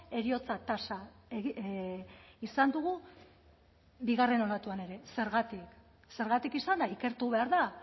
heriotza tasa izan dugu bigarren olatuan ere zergatik zergatik izan da ikertu behar da